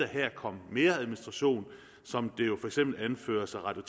her komme mere administration som det jo for eksempel anføres af radio